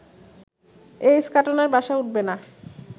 এই ইস্কাটনের বাসায় উঠবে না